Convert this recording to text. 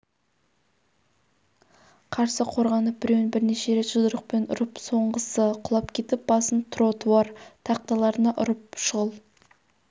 қарсы қорғанып біреуін бірнеше рет жұдырықпен ұрып соңғысы құлап кетіп басын тротуар тақталарына ұрып шұғыл